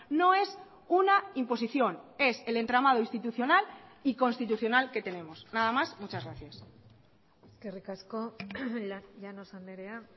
no es una imposición es el entramado institucional y constitucional que tenemos nada más muchas gracias eskerrik asko llanos andrea